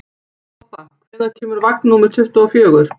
Bobba, hvenær kemur vagn númer tuttugu og fjögur?